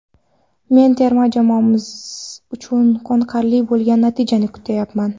Men terma jamoamiz uchun qoniqarli bo‘lgan natijani kutyapman.